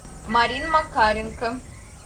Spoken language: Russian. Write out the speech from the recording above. марина макаренко